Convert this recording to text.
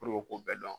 k'u bɛɛ dɔn